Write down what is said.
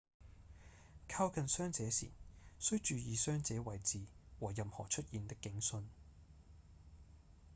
靠近傷者時須注意傷者位置和任何出現的警訊